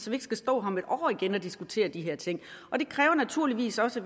vi ikke skal stå her om et år igen og diskutere de her ting det kræver naturligvis også at